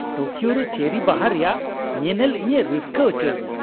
Tokyo ᱨᱮ cherry ᱵᱟᱦᱟ ᱨᱮᱭᱟᱜ ᱧᱮᱱᱮᱞ ᱤᱧᱮ ᱨᱟᱹᱥᱠᱟᱹ ᱦᱚᱪᱚᱧᱟ ᱾